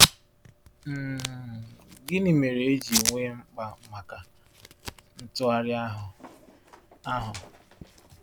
um Gịnị mere e ji nwee mkpa maka ntụgharị ahụ? ahụ?